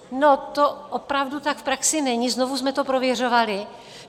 No to opravdu tak v praxi není, znovu jsme to prověřovali.